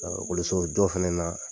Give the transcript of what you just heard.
A okolisojɔ fana na